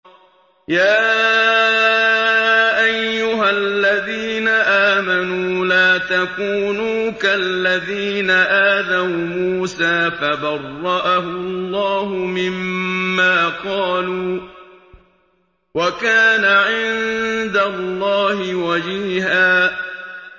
يَا أَيُّهَا الَّذِينَ آمَنُوا لَا تَكُونُوا كَالَّذِينَ آذَوْا مُوسَىٰ فَبَرَّأَهُ اللَّهُ مِمَّا قَالُوا ۚ وَكَانَ عِندَ اللَّهِ وَجِيهًا